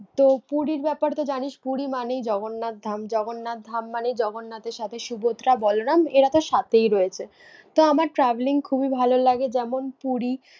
তো পুরীর ব্যাপারে তো জানিস, পুরী মানেই জগন্নাথধাম মানে জগন্নাথের সাথে সুভদ্রা, বলরাম এরা তো সাথেই রয়েছে। তো আমার travelling খুবই ভালো লাগে যেমন পুরী